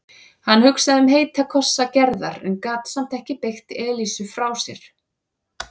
Hann hugsaði um heita kossa Gerðar en gat samt ekki bægt Elísu frá sér.